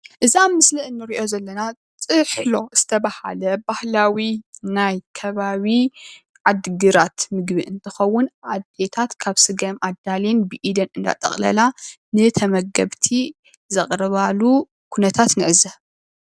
እዚ ኣብ ምስል እንሪኦ ዘለና ጥሕሎ ዝተብሃለ ባህላዊ ናይ ከባቢ ዓዲግራት ምግቢ እንትኸዉን ኣዴታት ካብ ስገም ኣዳልየን ብኤደን እንዳጠቕለላ ንተመገብቲ ዘቕርባሉ ኩነታት ንዕዘብ።